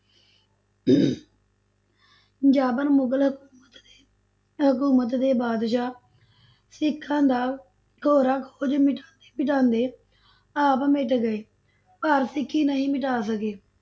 ਜਾਬਰ ਮੁਗਲ ਹਕੂਮਤ ਦੇ ਹਕੂਮਤ ਦੇ ਬਾਦਸ਼ਾਹ ਸਿੱਖਾਂ ਦਾ ਖ਼ੁਰਾ ਖੋਜ ਮਿਟਾਉਂਦੇ ਮਿਟਾਉਂਦੇ ਆਪ ਮਿਟ ਗਏ, ਪਰ ਸਿੱਖੀ ਨਹੀਂ ਮਿਟਾ ਸਕੇ।